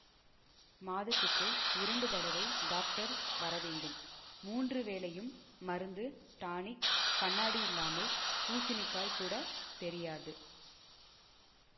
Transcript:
மாதத்துக்கு இரண்டு தடவை டாக்டர் வர வேண்டும் மூன்று வேளையும் மருந்து டானிக் கண்ணாடி இல்லாமல் பூசணிக்காய் கூட தெரியாது